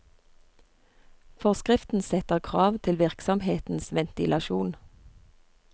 Forskriften setter krav til virksomhetens ventilasjon.